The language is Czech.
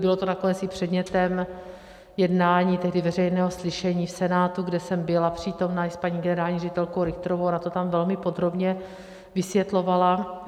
Bylo to nakonec i předmětem jednání tehdy veřejného slyšení v Senátu, kde jsem byla přítomna i s paní generální ředitelkou Richterovou, ona to tam velmi podrobně vysvětlovala.